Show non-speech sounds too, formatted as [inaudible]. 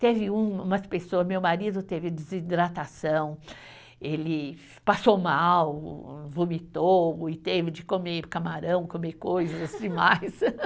Teve um, umas pessoas, meu marido teve desidratação, ele passou mal, vomitou, e teve de comer camarão, comer coisas demais. [laughs]